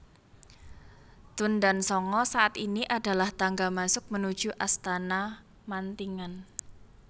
Tundan Sanga saat ini adalah tangga masuk menuju Astana Mantingan